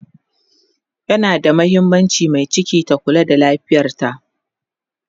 yana da mahimmaanci Mai ciki ta Kula da lafiyarta